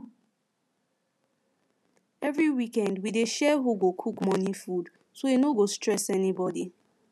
every weekend we dey share who go cook morning food so e no go stress anybody